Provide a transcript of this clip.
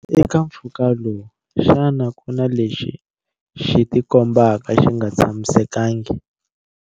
Eka mphfuka lowu, xana ku na lexi xi tikombaka xi nga tshamisekangi?